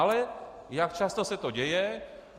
Ale jak často se to děje?